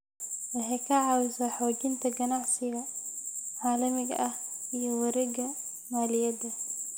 Waxay ka caawisaa xoojinta ganacsiga caalamiga ah iyo wareegga maaliyadda.